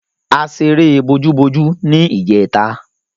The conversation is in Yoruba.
A ṣeré bojúbojú ní ìjẹta.